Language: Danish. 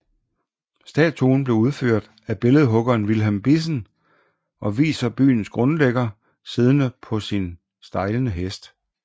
Statuen blev udført af billedhuggeren Vilhelm Bissen og viser byens grundlægger siddende højt på sin stejlende hest